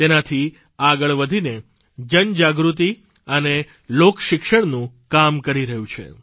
તેનાથી આગળ વધીને જનજાગૃતિ અને લોકશિક્ષણનું કામ કરી રહ્યું છે